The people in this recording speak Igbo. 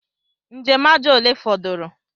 Njem aja ole fọdụrụ?